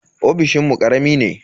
Ofishinmu karami ne.